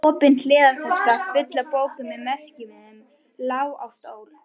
Opin hliðartaska, full af bókum með merkimiðum, lá á stól.